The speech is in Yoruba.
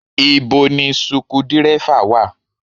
Ibo ni suku dírẹ́fà wa?